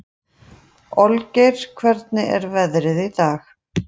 Olgeir, hvernig er veðrið í dag?